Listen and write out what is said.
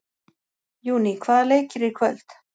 Júní, hvaða leikir eru í kvöld?